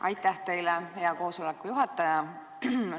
Aitäh teile, hea koosoleku juhataja!